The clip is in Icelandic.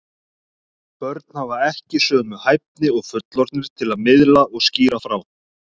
Börn hafa ekki sömu hæfni og fullorðnir til að miðla og skýra frá.